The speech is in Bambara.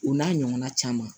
O n'a ɲɔgɔnna caman